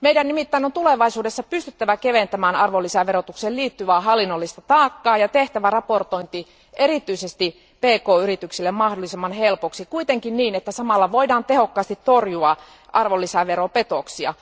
Meidän on nimittäin tulevaisuudessa pystyttävä keventämään arvonlisäverotukseen liittyvää hallinnollista taakkaa ja tehtävä raportointi erityisesti pk yrityksille mahdollisimman helpoksi, kuitenkin niin, että samalla voidaan tehokkaasti torjua arvonlisäveropetoksia.